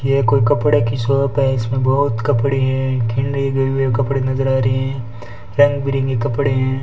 ये कोई कपड़े की शॉप है इसमें बहोत कपड़े हैं कपड़े नजर आ रहे हैं रंग बिरंगे कपड़े हैं।